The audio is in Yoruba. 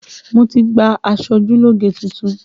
Mo ti gba aṣojúlógé tuntun